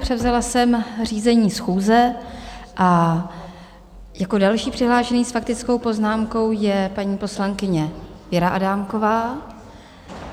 Převzala jsem řízení schůze a jako další přihlášená s faktickou poznámkou je paní poslankyně Věra Adámková.